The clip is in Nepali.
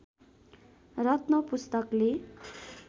रत्न पुस्तकले